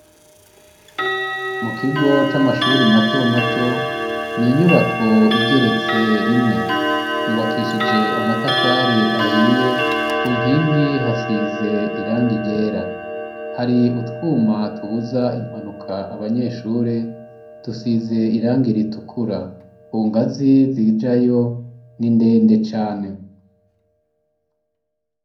Mu kigo c'amashuri mato mato ni inyubako igeretse rimwe yubakishije amatafari ahiye ku nkingi hasize irangi ryera hari utwuma tubuza impanuka abanyeshuri dusize irangi ritukura ku ngazi zijayo n'indende cane.